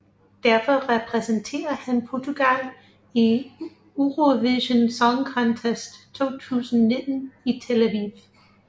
Derfor repræsenterer han Portugal i Eurovision Song Contest 2019 i Tel Aviv